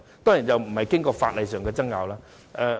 當然，這並未經過法律上的爭拗。